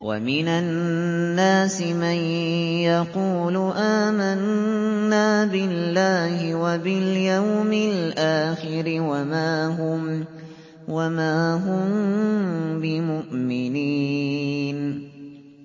وَمِنَ النَّاسِ مَن يَقُولُ آمَنَّا بِاللَّهِ وَبِالْيَوْمِ الْآخِرِ وَمَا هُم بِمُؤْمِنِينَ